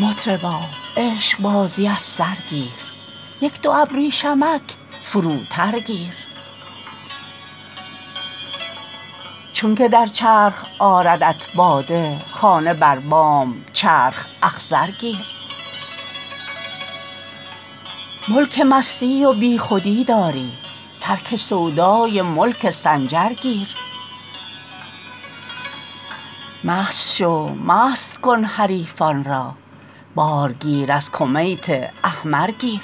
مطربا عشقبازی از سر گیر یک دو ابریشمک فروتر گیر چونک در چرخ آردت باده خانه بر بام چرخ اخضر گیر ملک مستی و بیخودی داری ترک سودای ملک سنجر گیر مست شو مست کن حریفان را بار گیر از کمیت احمر گیر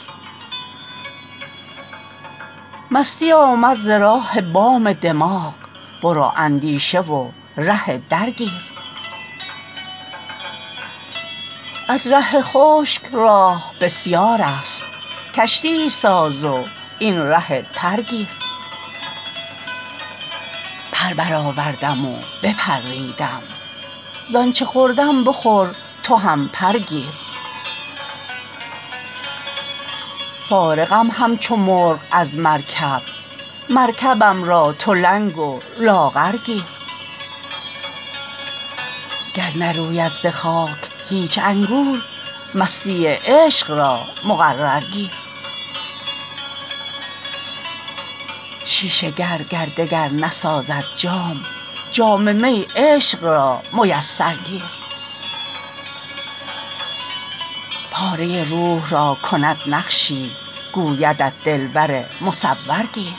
مستی آمد ز راه بام دماغ برو اندیشه و ره در گیر از ره خشک راه بسیارست کشتیی ساز وین ره تر گیر پر برآوردم و بپریدم ز آنچ خوردم بخور تو هم پر گیر فارغم همچو مرغ از مرکب مرکبم را تو لنگ و لاغر گیر گر نروید ز خاک هیچ انگور مستی عشق را مقرر گیر شیشه گر گر دگر نسازد جام جام می عشق را میسر گیر پاره روح را کند نقشی گویدت دلبر مصور گیر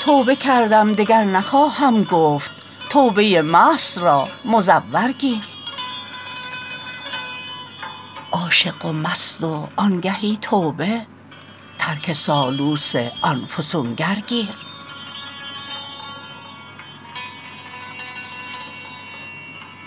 توبه کردم دگر نخواهم گفت توبه مست را مزور گیر عاشق و مست و آنگهی توبه ترک سالوس آن فسونگر گیر